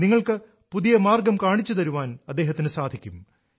നിങ്ങൾക്ക് പുതിയ മാർഗം കാണിച്ചു തരാൻ അദ്ദേഹത്തിനു സാധിക്കും